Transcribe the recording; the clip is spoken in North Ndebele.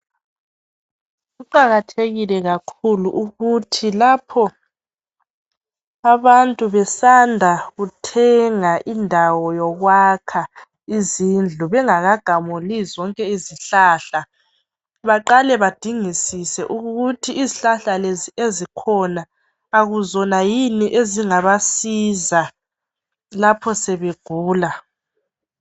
Kuqakathekile kakhulu ukuthi lapho abantu besanda kuthenga indawo yokwakha izindlu .Bengaka gamuli zonke izihlahla baqale badingisise ukuthi izihlahla lezi ezikhona Akuzona yini ezingabasiza lapho sebegula .